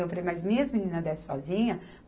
Eu falei, mas minhas meninas descem sozinhas?